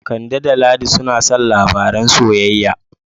Kande da Ladi suna son labaran soyayya.